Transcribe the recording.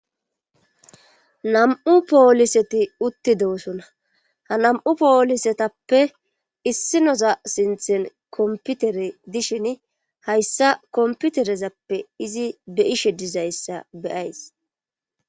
nam7u pooliseti uttidoosona ha nam7u poolisetappe issinoza sinthen komputere dishin hayssa komputerezappe izi be ishe dizayssa beyays